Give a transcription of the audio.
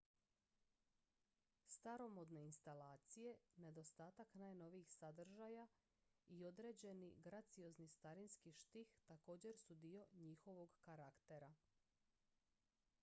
staromodne instalacije nedostatak najnovijih sadržaja i određeni graciozni starinski štih također su dio njihovog karaktera